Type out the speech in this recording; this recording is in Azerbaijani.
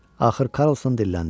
Axır Karlson dilləndi.